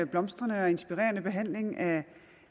blomstrende og inspirerende behandling af